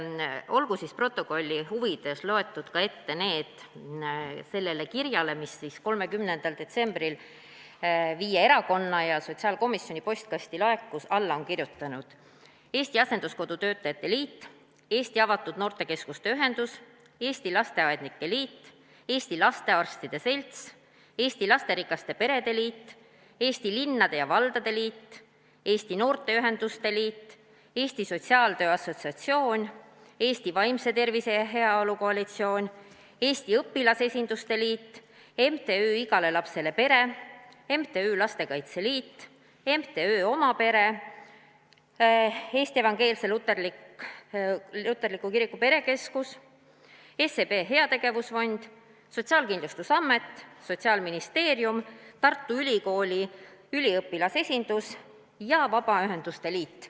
Olgu siis stenogrammi huvides loetud ette sellele kirjale, mis 30. detsembril viie erakonna ja sotsiaalkomisjoni postkasti laekus, allakirjutanud: Eesti Asenduskodu Töötajate Liit, Eesti Avatud Noortekeskuste Ühendus, Eesti Lasteaednike Liit, Eesti Lastearstide Selts, Eesti Lasterikaste Perede Liit, Eesti Linnade ja Valdade Liit, Eesti Noorteühenduste Liit, Eesti Sotsiaaltöö Assotsiatsioon, Eesti Vaimse Tervise ja Heaolu Koalitsioon, Eesti Õpilasesinduste Liit, MTÜ Igale Lapsele Pere, MTÜ Lastekaitse Liit, MTÜ Oma Pere, Eesti Evangeelse Luterliku Kiriku Perekeskus, SEB Heategevusfond, Sotsiaalkindlustusamet, Sotsiaalministeerium, Tartu Ülikooli üliõpilasesindus ja Vabaühenduste Liit.